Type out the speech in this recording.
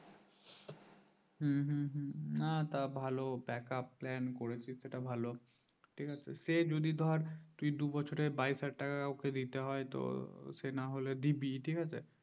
হম হম না তো ভালো backup plan করেছি সেটা ভালো ঠিক আছে সেই যদি ধর তুই দুই বছরে বাইশ হাজার ওকে দিতে হয় তো সেই না হলে দিবি ঠিক আছে